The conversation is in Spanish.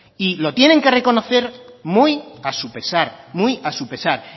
y lo tienen que reconocer muy a su pesar